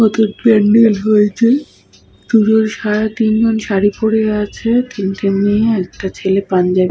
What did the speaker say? নতুন পান্ডেল হয়েছে। পুজোর সা তিনজন শাড়ী পরে আছে। তিনটে মেয়ে একটা ছেলে পাঞ্জাবি --